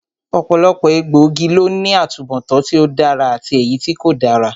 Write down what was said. Ọ̀pọ̀lọpọ̀ egbòogi ló ní atubọtan tí ó dára àti èyítí kò dára